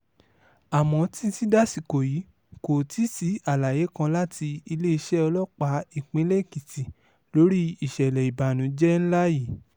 àmọ́ títí dasìkò yìí kò tíì sí àlàyé kan láti iléeṣẹ́ ọlọ́pàá ìpínlẹ̀ èkìtì lórí ìṣẹ̀lẹ̀ ìbànújẹ́ ńlá yìí